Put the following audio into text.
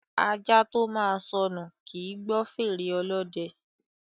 Ajá tó máa sọnù, kì í gbọ́ fèrè ọlọ́dẹ.